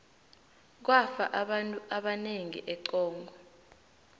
kwafa abantu abanengi econgo